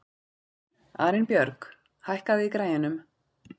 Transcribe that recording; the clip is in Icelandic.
Arinbjörg, hækkaðu í græjunum.